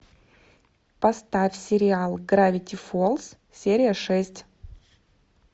поставь сериал гравити фолз серия шесть